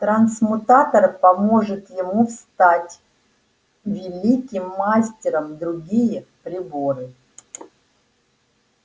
трансмутатор поможет ему стать великим мастером другие приборы